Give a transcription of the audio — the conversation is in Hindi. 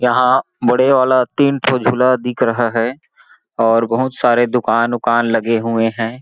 यहाँ बड़े वाला तीन ठो झूला दिख रहा है और बहुत सारे दुकान -उकान लगे हुए हैं।